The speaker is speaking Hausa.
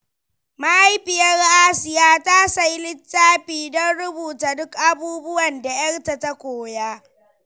Mahaifiyar Asiya ta sayi littafi don rubuta duk abubuwan da yarta ta koya.